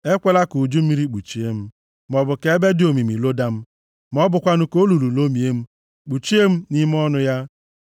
Ekwela ka uju mmiri kpuchie m, maọbụ ka ebe dị omimi loda m, ma ọ bụkwanụ ka olulu lomie m, kpuchie m nʼime ọnụ ya.